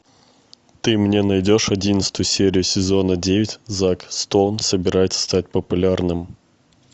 ты мне найдешь одиннадцатую серию сезона девять зак стоун собирается стать популярным